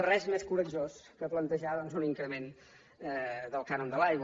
res més coratjós que plantejar doncs un increment del cànon de l’aigua